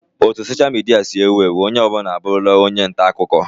O ne soshia midia si ewu ewu, onye ọ bụla abụrụla onye nta akụkọ